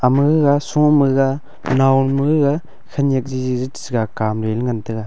ma gaga sho ma ga nao am gaga khanyak ji ja kam lele ngan taga.